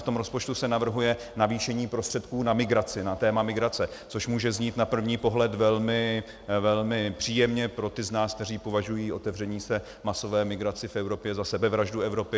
V tom rozpočtu se navrhuje navýšení prostředků na migraci, na téma migrace, což může znít na první pohled velmi příjemně pro ty z nás, kteří považují otevření se masové migraci v Evropě za sebevraždu Evropy.